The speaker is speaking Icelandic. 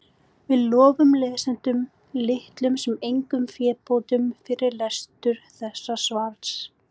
við lofum lesendum litlum sem engum fébótum fyrir lestur þessa svars